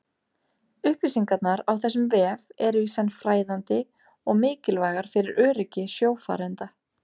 upplýsingarnar á þessum vef eru í senn fræðandi og mikilvægar fyrir öryggi sjófarenda